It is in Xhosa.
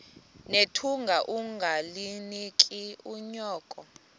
nethunga ungalinik unyoko